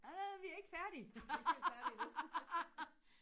åh vi er ikke færdige